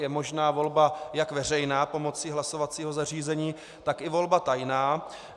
Je možná volba jak veřejná pomocí hlasovacího zařízení, tak i volba tajná.